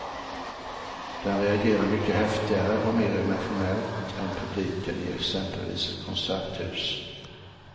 Den reagerar mycket häftigare och mer emotionellt än publiken i exempelvis ett konserthus.